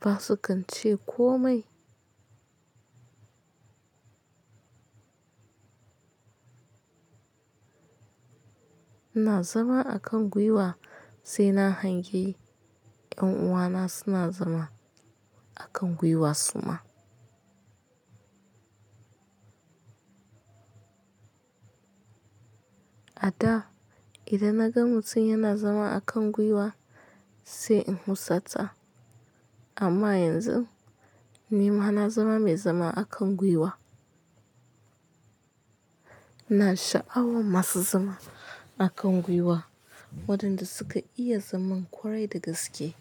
basu kan ce komai. Ina zama a kan gwiwa sai na hangi. Ƴan uwana suna zama a kan gwiwa suma. A daa idan na ga mutum yana zama a kan gwiwa sai in husata, amma yanzu ni ma na zama mai zama a kan gwiwa. Na sha'awa masu zama a kan gwiwa waɗanda suka iya zaman ƙwarai da gaske.